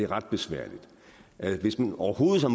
ret besværligt hvis man overhovedet